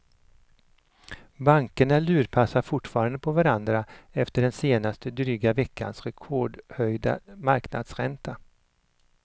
Bankerna lurpassar fortfarande på varandra efter den senaste dryga veckans rekordhöjda marknadsränta.